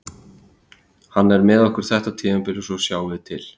Hann er með okkur þetta tímabil og svo sjáum við til.